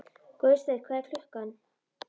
Guðsteinn, hvað er klukkan?